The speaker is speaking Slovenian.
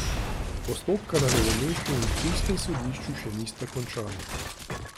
Postopka na novomeškem in ptujskem sodišču še nista končana.